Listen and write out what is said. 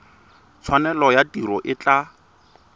tshwanelo ya tiro e tla